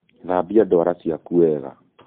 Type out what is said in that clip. Thambia ndwara ciaku wega